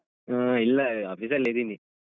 ಹ್ಮ್ ಇಲ್ಲ office ಲ್ಲೆ ಇದ್ದೀನಿ.